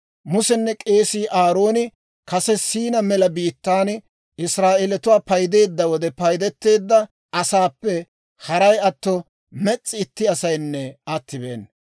Musenne k'eesii Aarooni kase Siinaa mela biittaan Israa'eelatuwaa paydeedda wode, paydeteedda asaappe haray atto mes's'i itti asaynne attibeena.